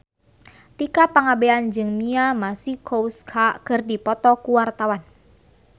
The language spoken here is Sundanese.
Tika Pangabean jeung Mia Masikowska keur dipoto ku wartawan